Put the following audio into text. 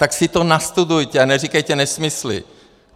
Tak si to nastudujte a neříkejte nesmysly!